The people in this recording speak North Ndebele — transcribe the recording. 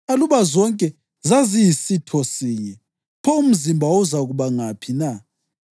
Aluba zonke zaziyisitho sinye, pho umzimba wawuzakuba ngaphi na?